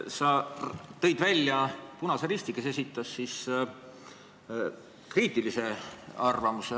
Sa tõid välja Eesti Punase Risti, kes esitas eelnõu kohta kriitilise arvamuse.